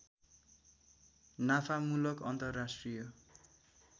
नाफामूलक अन्तर्राष्ट्रिय